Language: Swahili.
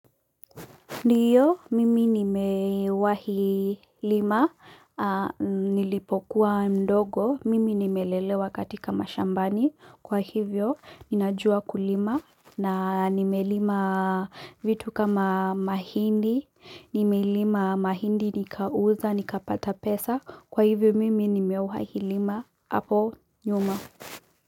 Ndiyo, mimi nime wahi lima, nilipokuwa mdogo, mimi nimelelewa katika mashambani, kwa hivyo ninajua kulima, na nime lima vitu kama mahindi, nime lima mahindi nikauza, nikapata pesa, kwa hivyo mimi nime wahi lima, hapo nyuma.